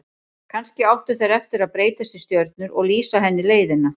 Kannski áttu þeir eftir að breytast í stjörnur og lýsa henni leiðina.